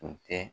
Kun tɛ